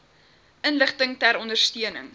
inligting ter ondersteuning